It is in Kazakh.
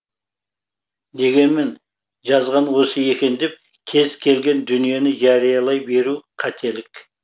дегенмен жазған осы екен деп кез келген дүниені жариялай беру қателік